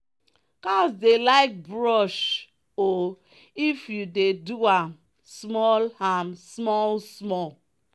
cows dey like brush oif you dey do am small am small small.